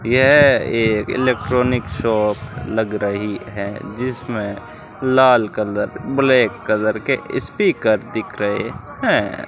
यह एक electronic shop लग रहीं हैं जिसमें लाल कलर ब्लैक कलर के यी स्पीकर दिख रहे है।